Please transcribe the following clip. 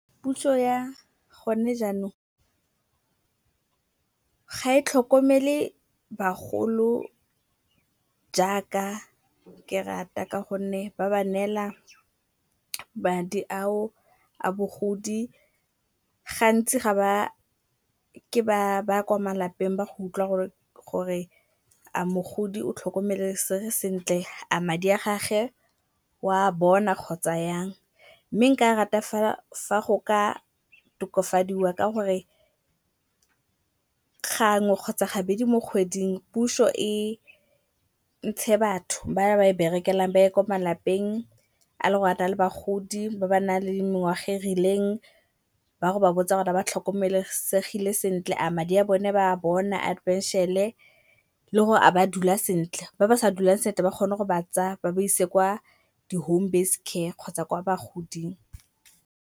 Puso ya go ne jaanong ga e tlhokomele bagolo jaaka ke rata ka gonne ba ba neela madi ao a bogodi, gantsi kwa malapeng ba go utlwa gore a mogodi o tlhokomelesege sentle? A madi a gagwe oa bona kgotsa jang. Mme nka rata fela fa go ka tokafadiwa ka gore gangwe kgotsa gabedi mo kgweding puso e ntshe batho ba ba e berekelang ba ye ko malapeng a le gore a na le bagodi ba ba nang le mengwaga e rileng. Ba ye go ba botsa gore ba tlhokomelesegile sentle? A madi a bone ba a bona a phenšene? Le gore a ba dula sentle? Ba ba sa dulang sentle ba kgone go ba tsaya ba ba ise kwa di-home-based care kgotsa kwa bagoding.